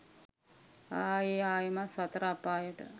ආයෙ ආයෙමත් සතර අපායට